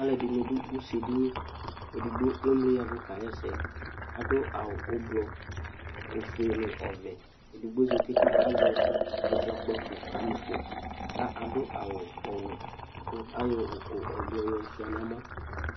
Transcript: Alʋɛdɩnɩ dʋ ʋse dɩnɩ edigbo emlɩ yavʋ kaɣa ɛsɛ adʋ awʋ ʋblɔ ofʋe nʋ ɔvɛ edɩgbo zatɩ kazɛ ɛzɔgbako kamɩfɔ ka adʋ awʋ ɔwɛ kʋ ayɔ ʋkʋ ʋblɔ yɔ shʋa nɛmɔ